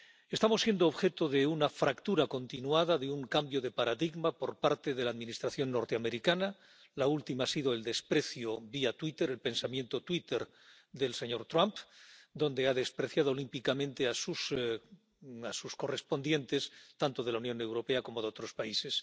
Estamos siendo objeto de una fractura continuada, de un cambio de paradigma por parte de la Administración norteamericana. La última ha sido el desprecio, vía Twitter, el pensamiento Twitter del señor Trump, donde ha despreciado olímpicamente a sus homólogos, tanto de la Unión Europea como de otros países.